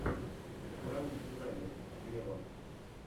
пранк дизайнер вево